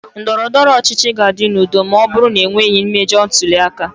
Ndọrọ ndọrọ ọchịchị ga-adị n'udo ma ọ bụrụ na e nweghị mmejọ ntuli aka.